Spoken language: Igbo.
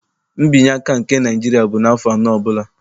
Nbinyeaka nke Naịjiria bụ n'afọ anọ ọbụla.